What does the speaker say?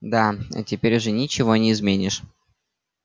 да теперь уже ничего не изменишь